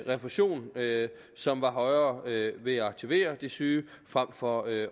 refusion som var højere ved at aktivere de syge frem for at